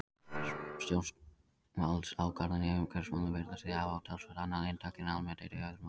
Stjórnvaldsákvarðanir í umhverfismálum virðast því hafa talsvert annað inntak en almennt er í öðrum málum.